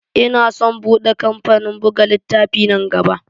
Ina san bude kamfanin buga littafai nan gaba.